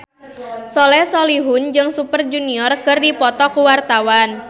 Soleh Solihun jeung Super Junior keur dipoto ku wartawan